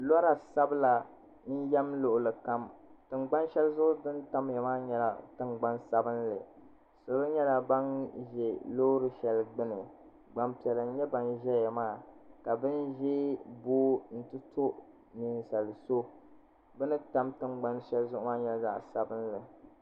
dunduŋni ka bɛ ʒɛya paɣiba ayi n nyɛba n turi saɣim tuli ʒɛya bisunsuuni ka tuli maa nyɛ zaɣ' bila ka paɣ' yini maa gbabi tuliga n tura ka ŋɔ bala maa mi ʒɛya lihiro ŋɔ bɛ turi maa sula chichini ka di nyɛ zaɣ' ʒiɛ ka nuli maa bɛ silibani ka siliba maa nyɛŋa sabigi ka pɛri gba bɛ be nyɛŋa ni nu o